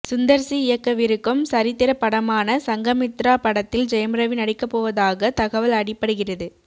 Sundar C இயக்கவிருக்கும் சரித்திர படமான சங்கமித்ரா படத்தில் ஜெயம் ரவி நடிக்கப்போவதாக தகவல் அடிபடுகிறது